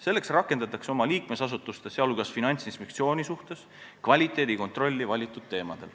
Selleks rakendatakse oma liikmesasutuste, sh Finantsinspektsiooni suhtes kvaliteedikontrolli valitud teemadel.